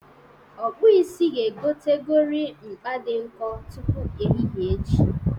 Ọkpụisi ga-egotegori mkpa dị nkọ tupu ehihe echi.